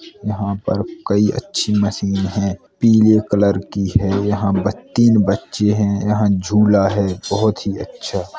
यहाँ पर कई अच्छी मशीन है पीले कलर की हैं यहाँ ब तीन बच्चे हैं यहाँ झूला है बोहत ही अच्छा--